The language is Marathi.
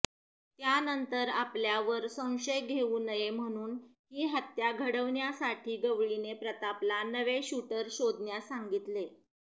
त्यानंतर आपल्यावर संशय येऊ नये म्हणून ही हत्या घडवण्यासाठी गवळीने प्रतापला नवे शूटर शोधण्यास सांगितले